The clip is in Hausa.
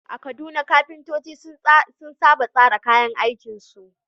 A Kaduna, kafintoci sun saba tsara kayan aikinsu.